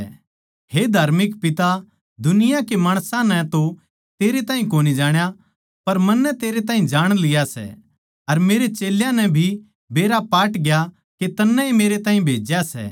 हे धार्मिक पिता दुनिया के माणसां नै तो तेरे ताहीं कोनी जाण्या पर मन्नै तेरे ताहीं जाण लिया सै अर मेरे चेल्यां नै भी बेरा पाटग्या के तन्नै ए मेरैताहीं भेज्या सै